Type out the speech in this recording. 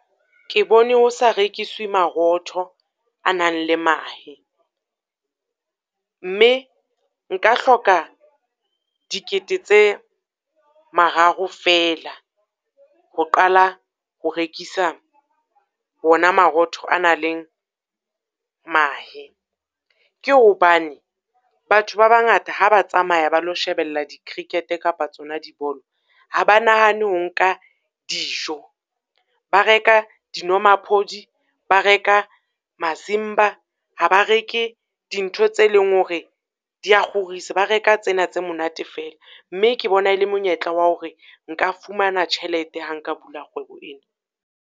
Ke bone ho sa rekiswe marotho a nang le mahe, mme nka hloka dikete tse mararo fela ho qala ho rekisa hona marotho a nang le mahe. Ke hobane batho ba bangata ha ba tsamaya ba lo shebella di-cricket kapa tsona dibolo. Ha ba nahane ho nka dijo, ba reka dinomaphodi, ba reka masimba, ha ba reke dintho tse leng hore di a kgorisa. Ba reka tsena tse monate fela, mme ke bona le monyetla wa hore nka fumana tjhelete ha nka bula kgwebo ena.